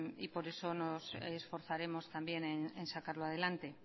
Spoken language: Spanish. y por eso nos esforzaremos también en sacarlo adelante